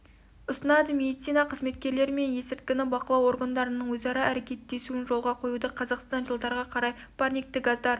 ұсынады медицина қызметкерлері мен есірткіні бақылау органдарының өзара әрекеттесуін жолға қоюды қазақстан жылдарға қарай парникті газдар